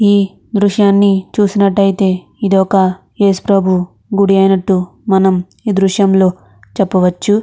ఈ దృశ్యాన్ని చూసినాటితే ఇది ఒక యేసు ప్రభు గుడి అయ్యినట్టు మనము ఈ దృశ్యంలో చెప్పవచు.